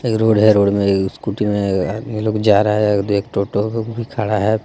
एक रोड है रोड में इस्कूटी में यह आदमी लोग जा रहा है एक भी खड़ा है.